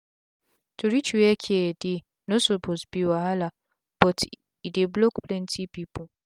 to reach were care dey no suppose be wahala but e dey block plenti pipu